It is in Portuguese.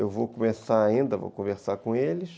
Eu vou começar ainda, vou conversar com eles.